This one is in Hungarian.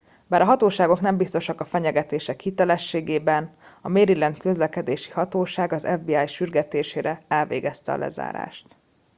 bár a hatóságok nem biztosak a fenyegetés hitelességében a maryland közlekedési hatóság az fbi sürgetésére elvégezte a lezárást